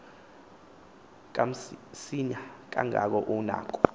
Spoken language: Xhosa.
kamsinya kangangoko unako